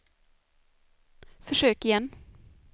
försök igen